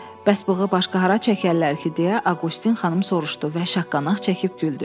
Bəs bığı başqa hara çəkərlər ki, deyə Aqustin xanım soruşdu və şaqqanaq çəkib güldü.